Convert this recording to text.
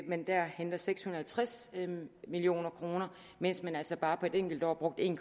man der henter seks hundrede og halvtreds million kr mens man altså bare på et enkelt år har brugt en